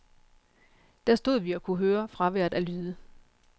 Der stod vi og kunne høre fraværet af lyde.